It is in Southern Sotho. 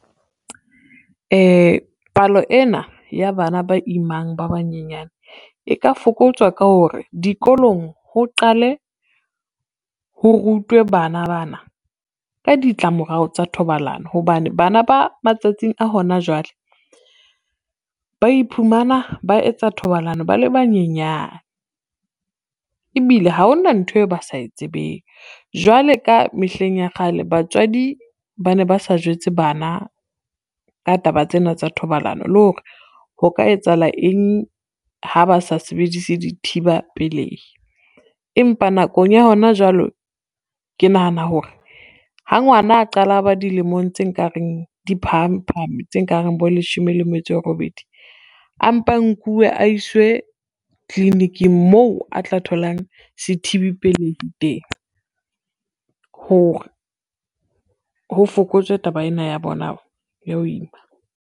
Palo ena ya bana ba imang ba banyenyana e ka fokotswa ka hore dikolong ho qale, ho rutwe bana bana ka ditlamorao tsa thobalano, hobane bana ba matsatsing a hona jwale ba iphumana ba etsa thobalano ba le banyenyana. Ebile ha ona ntho eo ba sa e tsebeng jwale ka mehleng ya kgale batswadi ba ne ba sa jwetse bana ka taba tsena tsa thobalano le hore ho ka etsahala eng ha ba sa sebedise dithiba pelehi. Empa nakong ya hona jwale ke nahana hore ha ngwana a qala a ba dilemong tse nkareng diphahame phahame tse kareng bo leshome le metso e robedi, a mpa nkuwe a iswe tlilinikng mo a tla tholang sethibi pelehi teng. Hore ho fokotswe taba ena ya bona ya ho ima.